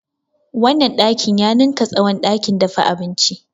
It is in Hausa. Wannan ɗakin ya ninka tsawon ɗakin dafa abinci.